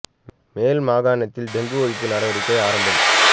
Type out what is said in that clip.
மேல் மாகாணத்தில் டெங்கு ஒழிப்பு நடவடிக்கை ஆரம்பம்